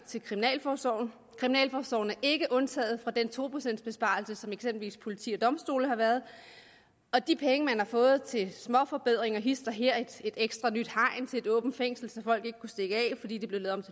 til kriminalforsorgen kriminalforsorgen er ikke undtaget fra den to procents besparelse som eksempelvis politi og domstole har været og de penge man har fået til småforbedringer hist og her et ekstra nyt hegn til et åbent fængsel så folk ikke kunne stikke af fordi det blev lavet